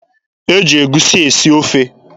E ji egusi esi ofe.